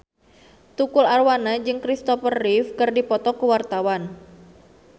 Tukul Arwana jeung Christopher Reeve keur dipoto ku wartawan